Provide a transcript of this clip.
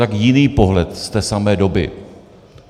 Tak jiný pohled z té samé doby.